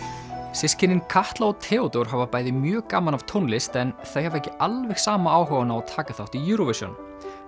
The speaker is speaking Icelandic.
systkinin Katla og Theódór hafa bæði mjög gaman af tónlist en þau hafa ekki alveg sama áhugann á að taka þátt í Eurovision